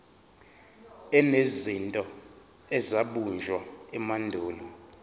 enezinto ezabunjwa emandulo